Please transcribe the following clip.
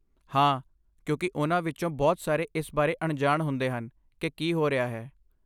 ਹਾਂ, ਕਿਉਂਕਿ ਉਨ੍ਹਾਂ ਵਿੱਚੋਂ ਬਹੁਤ ਸਾਰੇ ਇਸ ਬਾਰੇ ਅਣਜਾਣ ਹੁੰਦੇ ਹਨ ਕਿ ਕੀ ਹੋ ਰਿਹਾ ਹੈ।